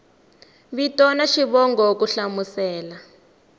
vito na xivongo ku hlamusela